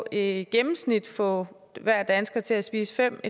i gennemsnit få hver dansker til at spise fem